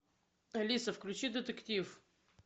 алиса включи детектив